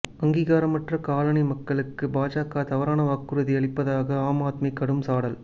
அங்கீகாரமற்ற colony மக்களுக்கு பாஜக தவறான வாக்குறுதி அளிப்பதாக ஆம் ஆத்மி கடும் சாடல்